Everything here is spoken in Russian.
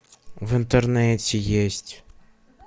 в интернете есть